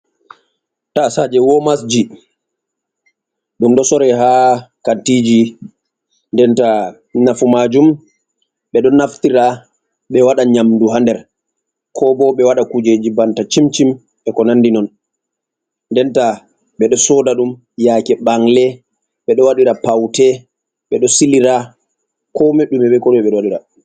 Taasaaje womasji, ɗum ɗo sore ha kantiji denta nafumajum ɓe ɗo naftira ɓe waɗa nyamdu ha nder, ko bo ɓe waɗa kujeji banta cimcim be ko nandi non, denta ɓe ɗo sooda ɗum yaake bangle, ɓe ɗo waɗira paute, ɓe ɗo silira ko me ɗume be ko ɗume ɓe ɗo wadira.